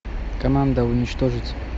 команда уничтожить